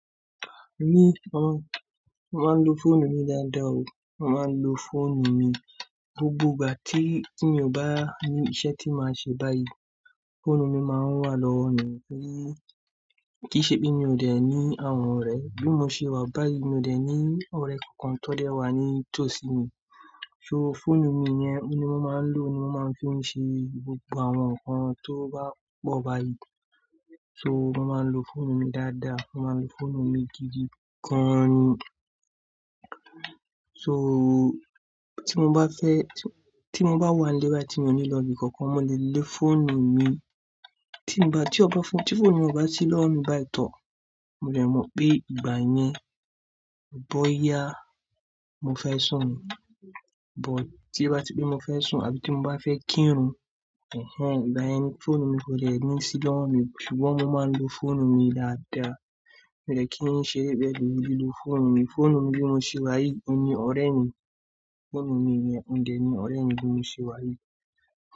Ni pon, mo máa ń lo fóònù mi dáadáa o. Mo máa ń lo fóònù mi, gbogbo ìgbà tí, tí mi ò bá ní iṣẹ́ tí màá ṣe báyìí, fóònù mi máa ń wà lọ́wọ́ mi. Kí í ṣe pé mi ò dẹ̀ ní àwọn ọ̀rẹ́, bí mo ṣe wà báyìí, mi ò dẹ̀ ní ọ̀rẹ́ kankan tó lè wà ní tòsí mi. So fóònù mi yẹn ni mo máa ń lò ni mo máa ń fi ṣe gbogbo àwọn nǹkan tó bá pọ̀ báyìí. So mo máa ń lo fóònù mi dáadáa, mo máa ń lo fóònù mi gidi gan ni So tí mo bá fẹ́, tí mo bá wà nílé báyìí tí mo nílò ibi kankan, mo lè lo fóònù mi. Tí mo bá, tí ọba fún, tí fóònù mi ò bá sí lọ́wọ́ mi báyìí to, mo lè mọ̀ pé ìgbà yẹn ò bóyá mo fẹ́ sùn ni. But tí bá ti pé mo fẹ́ sùn àbí tí mo bá fẹ́ kírun. Ẹ̀hẹn, ìgbà yẹn ni fóònù mi kò dẹ̀ ní sí lọ́wọ́ mi. Ṣùgbọ́n mo máa ń lo fóònù mi dáadáa. Mi ò dẹ̀ kí n ṣeré bẹ́ẹ̀ rí, mo dídí lo fóònù mi. Fóònù mi bí mo ṣe wá yìí ni ọ̀rẹ́ mi. Fóònù mi ò dẹ̀ ní ọ̀rẹ́ mi bí mo ṣe wá yìí.